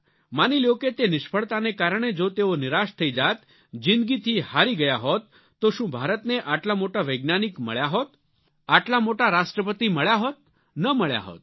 માની લ્યો કે તે નિષ્ફળતાને કારણે જો તેઓ નિરાશ થઈ જાત જિંદગી થી હારી ગયા હોત તો શું ભારતને આટલા મોટા વૈજ્ઞાનિક મળ્યા હોત આટલા મોટા રાષ્ટ્રપતિ મળ્યા હોત ન મળ્યા હોત